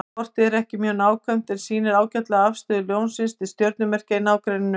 Kortið er ekki mjög nákvæmt en sýnir ágætlega afstöðu Ljónsins til stjörnumerkja í nágrenninu.